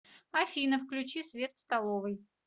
афина включи свет в столовой